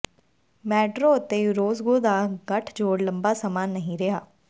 Maduro ਅਤੇ Orozco ਦਾ ਗੱਠਜੋੜ ਲੰਬਾ ਸਮਾਂ ਨਹੀਂ ਰਿਹਾ